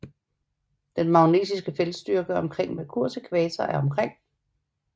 Den magnetiske feltstyrke omkring Merkurs ækvator er omkring